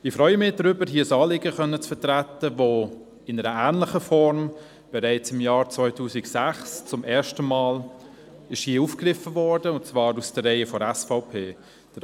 Ich freue mich, ein Anliegen vertreten zu können, das in ähnlicher Art bereits im Jahr 2006 zum ersten Mal aus den Reihen der SVP aufgegriffen wurde.